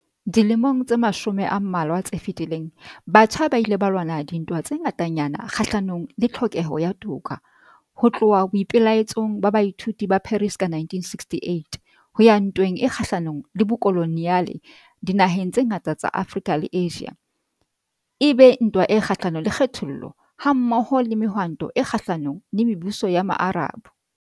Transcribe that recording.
Dilemong tse mashome a mmalwa tse fetileng, batjha ba ile ba lwana dintwa tse ngatanyana kgahlanong le tlhokeho ya toka, ho tloha boipe-laetsong ba baithuti ba Paris ka 1968, ho ya ntweng e kgahlanong le bokoloniale dinaheng tse ngata tsa Afrika le Asia, e be ntwa e kgahlanong le kgethollo, ha-mmoho le Mehwanto e Kgahla-nong le Mebuso ya Maarab.